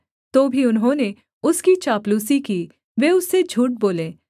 तो भी उन्होंने उसकी चापलूसी की वे उससे झूठ बोले